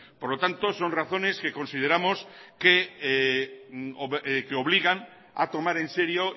por lo tanto son razones que obligan a tomar en serio